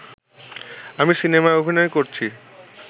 আমি সিনেমায় অভিনয় করছি